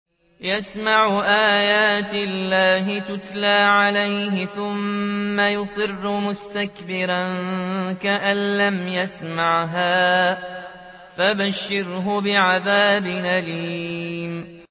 يَسْمَعُ آيَاتِ اللَّهِ تُتْلَىٰ عَلَيْهِ ثُمَّ يُصِرُّ مُسْتَكْبِرًا كَأَن لَّمْ يَسْمَعْهَا ۖ فَبَشِّرْهُ بِعَذَابٍ أَلِيمٍ